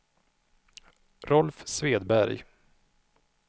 Rolf Svedberg